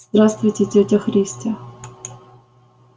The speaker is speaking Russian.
здравствуйте тётя христя